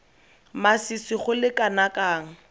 masisi go le kana kang